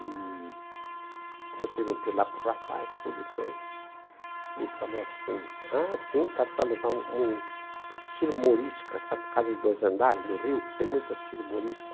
E aí eu perguntei lá para o rapaz, tudo e coisa, ele falou assim, ah, sim, está para alugar um estilo morisca, sabe, casa de dois andares, no Rio, que tem muito estilo morisca.